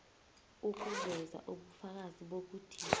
ukuveza ubufakazi bokuthi